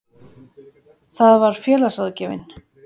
Það var félagsráðgjafinn.